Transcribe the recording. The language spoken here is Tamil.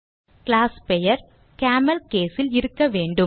கிளாஸ் பெயர் CamelCase ல் இருக்கவேண்டும்